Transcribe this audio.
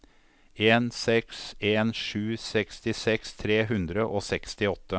en seks en sju sekstiseks tre hundre og sekstiåtte